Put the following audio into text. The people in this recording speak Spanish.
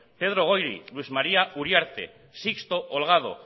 pedro goiri luis maría uriarte sixto holgado